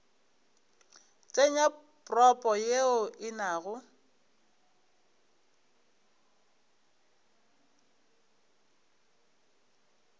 tsenya propo ye e nago